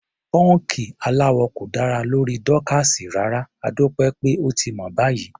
Pọ́ńkì aláwọ̀ kò dára lórí Dorcas rárá, adúpẹ́ pé ó ti mọ̀ báyìí.